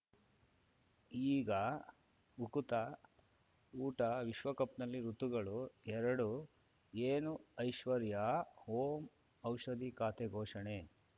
ಈಗ ಉಕುತ ಊಟ ವಿಶ್ವಕಪ್‌ನಲ್ಲಿ ಋತುಗಳು ಎರಡು ಏನು ಐಶ್ವರ್ಯಾ ಓಂ ಔಷಧಿ ಖಾತೆ ಘೋಷಣೆ